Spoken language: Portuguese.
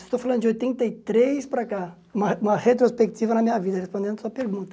Estou falando de oitenta e três para cá, uma uma retrospectiva na minha vida, respondendo a sua pergunta.